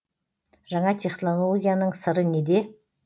жаңа технологияның сыры неде